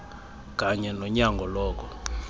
kunye nonyango loko